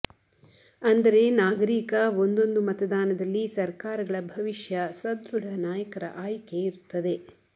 ಅಂದರೆ ನಾಗರೀಕ ಒಂದೊಂದು ಮತದಾನದಲ್ಲಿ ಸರ್ಕಾರಗಳ ಭವಿಷ್ಯ ಸದೃಢ ನಾಯಕರ ಆಯ್ಕೆ ಇರುತ್ತದೆ